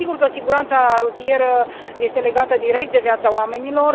Sigur că siguranța rutieră este legată direct de viața oamenilor.